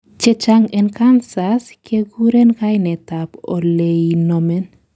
chechang en cancers kekuren kainetab oleinomen